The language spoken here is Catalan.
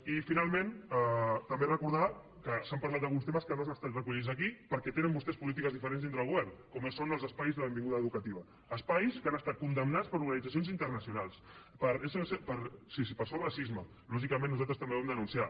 i finalment també recordar que s’ha parlat d’alguns temes que no han estat recollits aquí perquè tenen vostès polítiques diferents dintre del govern com són els espais de benvinguda educativa espais que han estat condemnats per organitzacions internacionals per sos racisme lògicament nosaltres també ho vam denunciar